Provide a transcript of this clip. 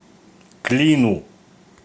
клину